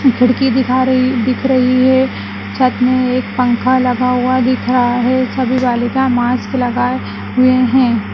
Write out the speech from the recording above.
खिड़की दिखाई रही दिख रही है छत में एक पंख लगा हुआ दिख रहा है सभी बालिका मास्क लगाए हुए हैं।